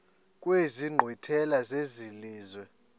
kwezi nkqwithela zelizwe